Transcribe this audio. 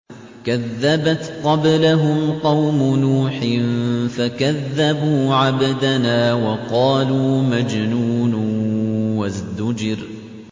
۞ كَذَّبَتْ قَبْلَهُمْ قَوْمُ نُوحٍ فَكَذَّبُوا عَبْدَنَا وَقَالُوا مَجْنُونٌ وَازْدُجِرَ